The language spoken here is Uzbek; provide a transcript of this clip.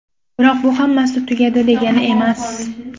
Biroq bu hammasi tugadi, degani emas.